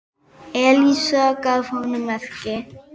Elísa gaf honum merki.